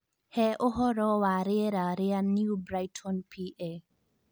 He ũhoro wa rĩera rĩa New Brighton PA